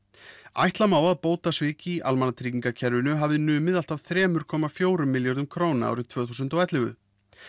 ætla má að bótasvik í almannatryggingakerfinu hafi numið allt að þremur komma fjögur milljörðum króna árið tvö þúsund og ellefu